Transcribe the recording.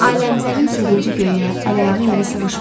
Ailəmzərin sevinci göyə, əl-ayağı yerə sığışmırdı.